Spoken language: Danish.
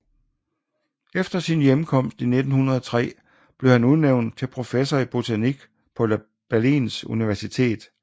Efter sin hjemkomst i 1903 blev han udnævnt til professor i botanik på Berlins Universitet